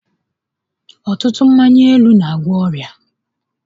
Ọtụtụ mmanya ilu n'agwọ ọrịa